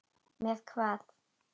Með hvað?